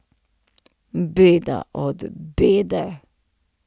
Beda od bede.